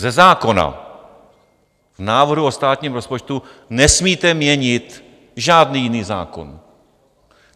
Ze zákona v návrhu o státním rozpočtu nesmíte měnit žádný jiný zákon.